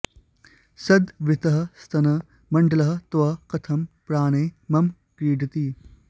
सद् वृत्तः स्तन मण्दलः तव कथम् प्राणैः मम क्रीडति